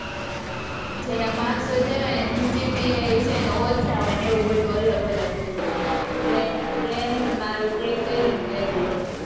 જેના marks શોધયા હોય ને cgpi છે ને ઓછા હોય ને એવું બધું અલગ અલગ હોય બધા ને friend નું ને મારું check કર્યું ને તો એવું હતું